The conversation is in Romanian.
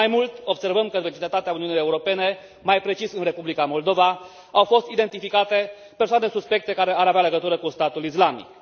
Mai mult, observăm că, în vecinătatea Uniunii Europene, mai precis în Republica Moldova, au fost identificate persoane suspecte care ar avea legătură cu statul islamic.